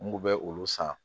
N kun bɛ olu san